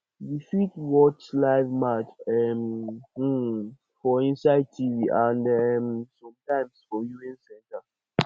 we fit watch life match um um for inside tv and um sometimes for viewing center